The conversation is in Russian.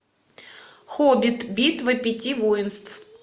хоббит битва пяти воинств